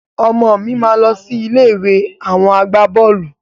Ọmọ mi máa lọ sí ilé ìwé àwọn agbaboolu